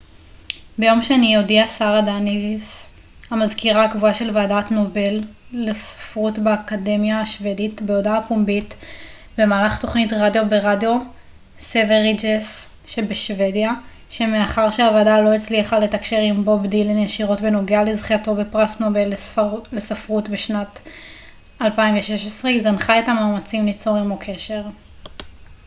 ביום שני הודיעה שרה דניוס המזכירה הקבועה של ועדת נובל לספרות באקדמיה השוודית בהודעה פומבית במהלך תוכנית רדיו ברדיו סווריג'ס בשוודיה שמאחר שהוועדה לא הצליחה לתקשר עם בוב דילן ישירות בנוגע לזכייתו בפרס נובל לספרות לשנת 2016 היא זנחה את המאמצים ליצור עמו קשר